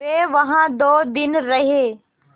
वे वहाँ दो दिन रहे